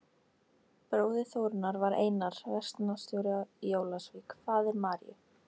Bróðir Þórunnar var Einar, verslunarstjóri í Ólafsvík, faðir Maríu